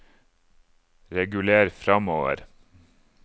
reguler framover